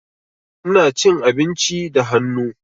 Ina cin abinci da hannu.